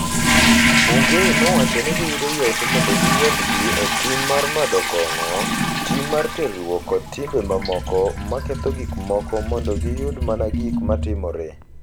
Bungei nowacho ni giyudo yot mondo giwuondgi e tim mar madho kong’o, tim mar terruok kod timbe mamoko ma ketho gik moko mondo giyud mana gik ma timore.